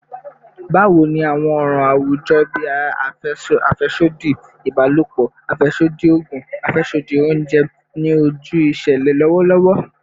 Bawo ni awọn ọran awujọ bii afẹsodi ibalopọ, afẹsodi oogun, ati afẹsodi ounjẹ ni oju iṣẹlẹ lọwọlọwọ?